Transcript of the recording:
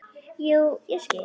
Jú, ég skil.